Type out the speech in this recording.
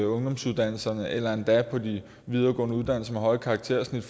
ungdomsuddannelserne eller endda på de videregående uddannelser med høje karaktersnit